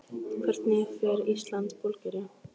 Hvernig fer Ísland- Búlgaría?